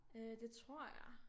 Øh det tror jeg